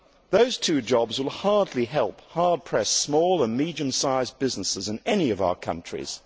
Those two jobs will hardly help hard pressed small and medium sized businesses in any of our countries.